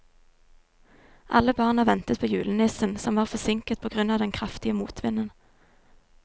Alle barna ventet på julenissen, som var forsinket på grunn av den kraftige motvinden.